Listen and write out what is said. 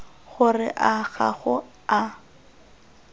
gore a ga go a